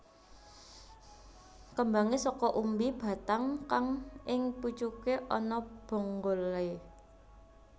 Kembangé saka umbi batang kang ing pucuke ana bonggolé